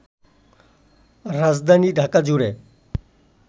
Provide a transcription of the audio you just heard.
রাজধানী ঢাকাজুড়ে